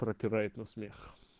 пропирает на смех